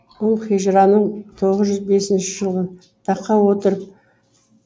ол хижраның тоғыз жүз бесінші жылы таққа отырып